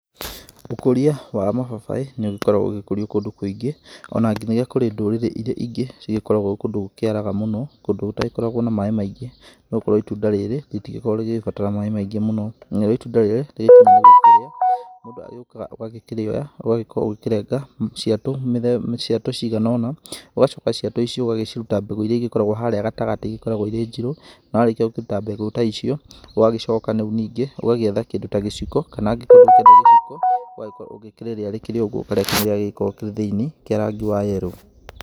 Ũkũria wa mababaĩ nĩũgĩkoragwo ũgĩkũrio kũndũ kũingĩ, ona nginyagia kũrĩ ndũrĩrĩ ingĩ cikorgwo kũndũ gũkĩaraga mũno, kũndũ gũtagĩkoragwo na maaĩ maĩngĩ. No korwo itunda rĩrĩ rĩtikoragwo rĩgĩbatara maaĩ maingĩ, o na nginya kũrĩ ndũrĩrĩ ĩrĩa ingĩ ĩgĩkoragwo kũndũ gũkĩaraga mũno, kũndũ gũtagĩkoragwo na maaĩ maĩngĩ, no ũkore itunda rĩrĩ rĩtigĩkoragwo rĩgĩbatara maaĩ maingĩ mũno, na rĩo itunda rĩrĩ rĩ cama ũgĩkĩria, mũndũ agĩũkaga ũgakĩrĩoya, ũgagĩkorwo ũkĩrenga ciatũ mĩthemba, cigana ũna, ũgacoka ciatũ íĩcio ũgakĩruta mbegũ iríĩ cikoragwo harĩa gatagatĩ-inĩ, ikoragwo irĩ njirũ, na warĩkia gũkĩruta mbegũ ta icio, ũgagĩcokanĩngĩ ũgagĩetha kĩndũ ta gĩciko kana angĩkorwo ndũkũenda gĩciko, ũgagĩkorwo ũgĩkĩrĩria rĩũgwo, ũgakĩrĩa kĩrĩa gĩgĩkoragwo kĩrĩ thĩiniĩ kia rangĩ wa yellow.